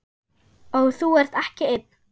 Og þú ert ekki einn.